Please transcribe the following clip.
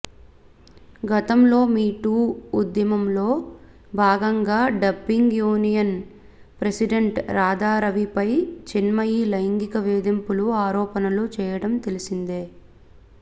గతంలో me too ఉద్యమంలో భాగంగా డబ్బింగ్ యూనియన్ ప్రసిడెంట్ రాధారవిపై చిన్మయి లైంగిక వేధింపుల ఆరోపణలు చేయడం తెలిసిందే